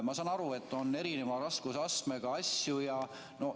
Ma saan aru, et on erineva raskusastmega asju.